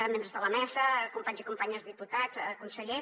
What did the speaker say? membres de la mesa companys i companyes diputats conseller